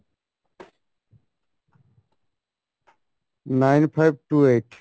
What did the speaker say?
nine five two eight